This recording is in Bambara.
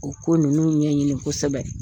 O ko ninnu ɲɛɲini kosɛbɛ.